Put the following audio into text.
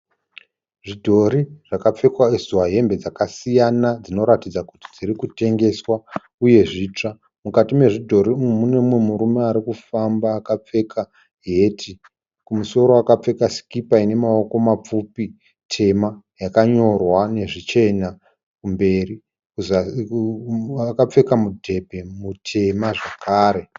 Zvidhori zvakapfekedzwa hembe dzakasiyana dzinoratidza kuti dzirikutengeswa uye zvitsva. Mukati mezvidhori umu mune umwe murume arikufamba akapfeka heti. Kumusoro akapfeka sikipa inemaoko mapfupi tema yakanyorwa nezvichena kumberi, akapfeka mudhebhe mutema zvakare.